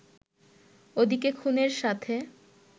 ওদিকে খুনের সাথে